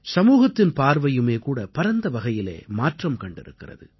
சமூகத்தின் பார்வையுமே கூட பரந்தவகையிலே மாற்றம் கண்டிருக்கிறது